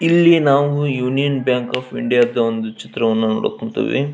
ಇಲ್ಲಿ ನಾವು ಯೂನಿಯನ್ ಬ್ಯಾಂಕ್ ಒಫ್ ಇಂಡಿಯಾ ದ್ ಒಂದು ಚಿತ್ರವನ್ನು ನೋಡಾಕ್ ಕುಂತೇವಿ.